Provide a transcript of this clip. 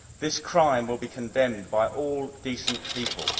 This crime will be condemned by all decent people.